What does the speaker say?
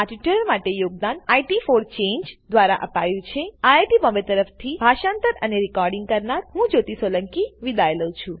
આ ટ્યુટોરીયલ માટે યોગદાન ઇટ ફોર ચાંગે દ્વારા અપાયું છે આઈઆઈટી બોમ્બે તરફથી હું જ્યોતી સોલંકી વિદાય લઉં છું